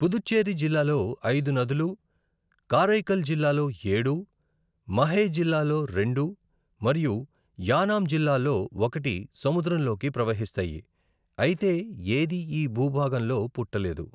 పుదుచ్చేరి జిల్లాలో ఐదు నదులు, కారైకాల్ జిల్లాలో ఏడు, మహే జిల్లాలో రెండు మరియు యానాం జిల్లాలో ఒకటి సముద్రంలోకి ప్రవహిస్తాయి, అయితే ఏదీ ఈ భూభాగంలో పుట్టలేదు.